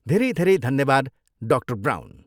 धेरै धेरै धन्यवाद, डा. ब्राउन।